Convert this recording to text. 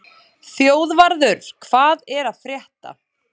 Þjóðvarður, hvað er að frétta?